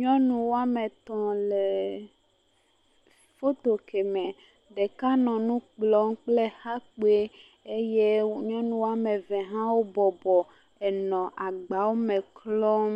Nyɔnu woame etɔ̃ le foto ke me. Ɖeka nɔ nu kplɔm kple exa kpoe. Eye nyɔnu woame eve bɔbɔ enɔ agbawome klɔm